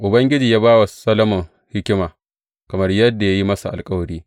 Ubangiji ya ba wa Solomon hikima, kamar yadda ya yi masa alkawari.